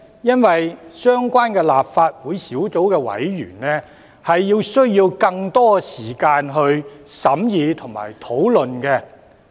因為相關立法會小組委員會需要更多時間審議和討論。